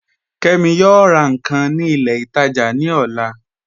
Kẹmi yọọ rà nkan ni ilẹ̀ itaajà ni ọ̀là